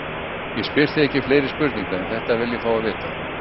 Ég spyr þig ekki fleiri spurninga, en þetta vil ég fá að vita.